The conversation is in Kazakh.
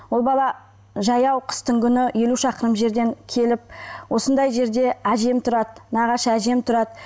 ол бала жаяу қыстың күні елу шақырым жерден келіп осындай жерде әжем тұрады нағашы әжем тұрады